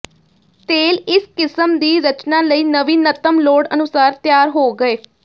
ਤੇਲ ਇਸ ਕਿਸਮ ਦੀ ਰਚਨਾ ਲਈ ਨਵੀਨਤਮ ਲੋੜ ਅਨੁਸਾਰ ਤਿਆਰ ਹੋ ਗਏ